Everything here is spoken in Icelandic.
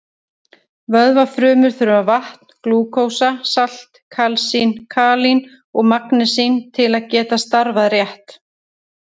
Vöðvafrumur þurfa vatn, glúkósa, salt, kalsín, kalín og magnesín til að geta starfað rétt.